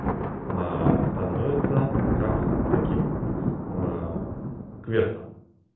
а становится как таким а квестом